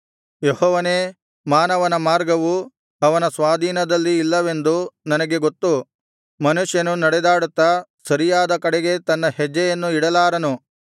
ಯೆಹೋವನೇ ಮಾನವನ ಮಾರ್ಗವು ಅವನ ಸ್ವಾಧೀನದಲ್ಲಿ ಇಲ್ಲವೆಂದು ನನಗೆ ಗೊತ್ತು ಮನುಷ್ಯನು ನಡೆದಾಡುತ್ತಾ ಸರಿಯಾದ ಕಡೆಗೆ ತನ್ನ ಹೆಜ್ಜೆಯನ್ನು ಇಡಲಾರನು